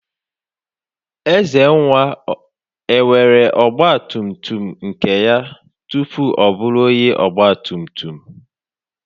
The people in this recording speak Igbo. Ezenwa enwere ọgba tum tum nke ya tupu ọ bụrụ onye ọgba tum tum?